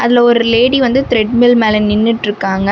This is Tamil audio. அதுல ஒரு லேடி வந்து திரட்மில் மேல நின்னுட்ருக்காங்க.